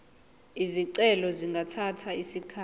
izicelo zingathatha isikhathi